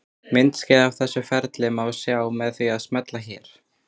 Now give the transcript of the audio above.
Myndskeið af þessu ferli má sjá með því að smella hér.